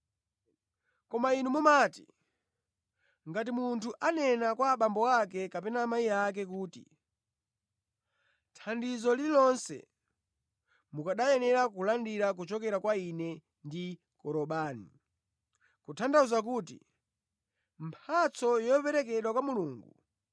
Koma inu mumati, ngati munthu anena kwa abambo ake kapena amayi ake kuti, ‘Thandizo lililonse mukanayenera kulandira kuchokera kwa ine ndi Korobani’ (kutanthauza kuti, mphatso yoperekedwa kwa Mulungu),